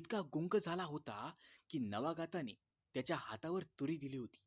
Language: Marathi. इतका गुंग झाला होता कि नवागताने त्याच्या हातावर तुरी दिली होती